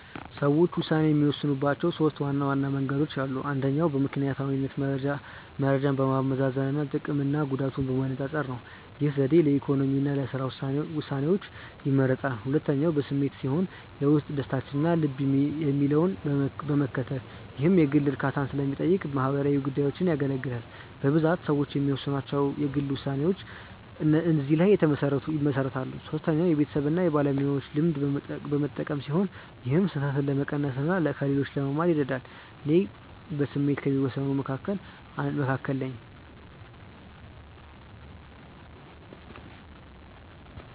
ሰዎች ውሳኔ የሚወስኑባቸው ሦስት ዋና መንገዶች አሉ። አንደኛው በምክንያታዊነት መረጃን በማመዛዘን እና ጥቅምና ጉዳትን በማነፃፀር። ይህ ዘዴ ለኢኮኖሚ እና ለሥራ ውሳኔዎች ይመረጣል። ሁለተኛው በስሜት ሲሆን የውስጥ ደስታን እና ልብ የሚለውን በመከተል። ይህ የግል እርካታን ለሚጠይቁ ማህበራዊ ጉዳዮች ያገለግላል። በብዛት ሰዎች የሚወስኗቸው የግል ውሳኔዎች እዚህ ላይ ይመሰረታሉ። ሶስተኛው የቤተሰብን እና የባለሙያዎችን ልምድ በመጠቀም ሲሆን ይህም ስህተትን ለመቀነስ እና ከሌሎች ለመማር ይረዳል። እኔ በስሜት ከሚወስኑት መካከል ነኝ።